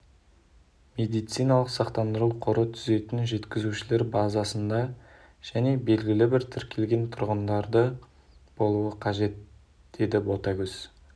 медициналық сақтандыру қоры түзетін жеткізушілер базасында және белгілі бір тікркелген тұрғындары болуы қажет деді ботагөз